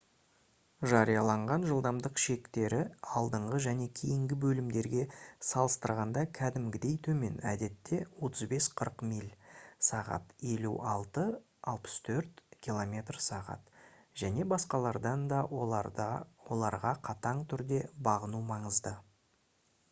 жарияланған жылдамдық шектері алдыңғы және кейінгі бөлімдерге салыстырғанда кәдімгідей төмен - әдетте 35-40 миль / сағ 56-64 км / сағ - және басқалардан да оларға қатаң түрде бағыну маңызды